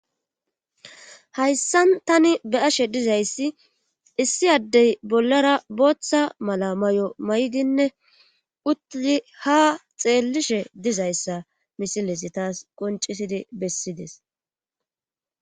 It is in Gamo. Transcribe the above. hayssan tani be ashe dizayssi issi addey bollara booththa mala may7o may7idinne utii ha xeellishe dizayssa misilesi taas qoncisidi bessides